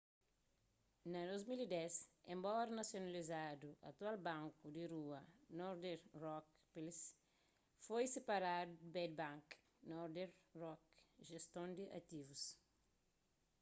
na 2010 enbora nasionalizadu atual banku di rua northern rock plc foi siparadu di bad bank” northern rock jeston di ativus